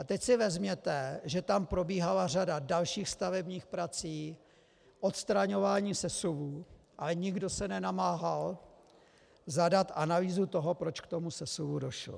A teď si vezměte, že tam probíhala řada dalších stavebních prací, odstraňování sesuvů, ale nikdo se nenamáhal zadat analýzu toho, proč k tomu sesuvu došlo.